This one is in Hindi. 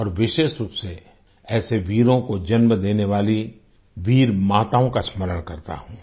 और विशेष रूप से ऐसे वीरों को जन्म देने वाली वीर माताओं का स्मरण करता हूँ